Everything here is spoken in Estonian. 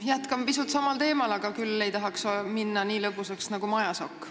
Jätkan pisut samal teemal, kuigi ei tahaks minna nii lõbusaks nagu Majasokk.